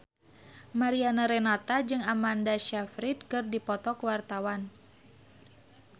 Mariana Renata jeung Amanda Sayfried keur dipoto ku wartawan